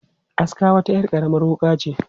Aska wata 'yar karamar wuƙa ce.